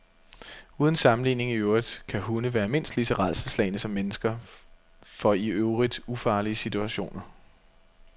Uden sammenligning i øvrigt kan hunde være mindst lige så rædselsslagne som mennesker for i øvrigt ufarlige situationer.